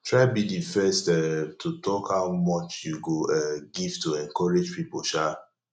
try be di first um to talk how much you go um give to encourage pipo um